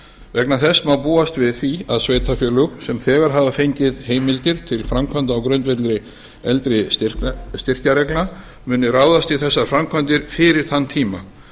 vegna þess má búast við því að sveitarfélög sem þegar hafa fengið heimildir til framkvæmda á grundvelli eldri styrkjareglna muni ráðast í þessar framkvæmdir fyrir þann tíma